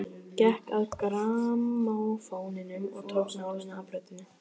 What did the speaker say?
Gekk að grammófóninum og tók nálina af plötunni.